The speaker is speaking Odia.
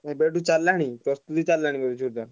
ଏବେଠୁ ଚାଲିଲାଣି ପ୍ରସ୍ତୁତି ଚାଲିଲାଣି ବୋଧେ ଜୋର ଦାର?